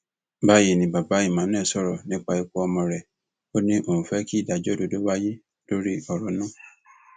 báyìí ni bàbá emmanuel sọrọ nípa ikú ọmọ rẹ ó ní òun fẹ kí ìdájọ òdodo wáyé lórí ọrọ náà